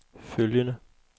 følgende